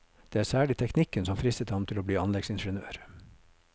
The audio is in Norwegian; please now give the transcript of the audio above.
Det var særlig teknikken som fristet ham til å bli anleggsingeniør.